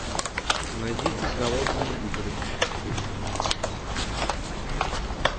найдите голодные игры фильм